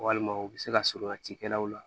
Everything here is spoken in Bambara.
Walima u bɛ se ka surunya cikɛlaw la